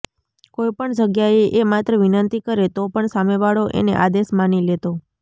કોઈપણ જગ્યાએ એ માત્ર વિનંતિ કરે તો પણ સામેવાળો એને આદેશ માની લેતો